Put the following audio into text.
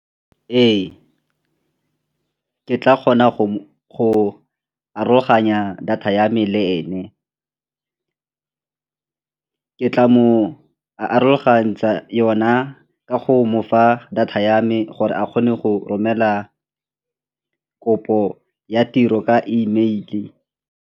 Ee, ke tla kgona go aroganya data ya me le ene, ke tla mo a arogantsha yona ka go mofa data ya me gore a kgone go romela kopo ya tiro ka E mail-e.